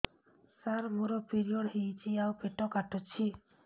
ସାର ମୋର ପିରିଅଡ଼ ହେଇଚି ଆଉ ପେଟ କାଟୁଛି